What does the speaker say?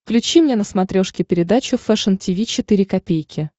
включи мне на смотрешке передачу фэшн ти ви четыре ка